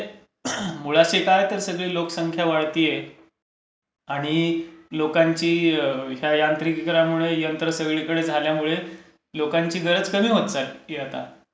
म्हणजे मुळाशी काय तर सगळी लोकसंख्या वाढतेय आणि लोकांची यांत्रिकीकरणामुळे, यंत्र सगळीकडे झाल्यामुळे लोकांची गरज कमी होत चाललेली आहे आता.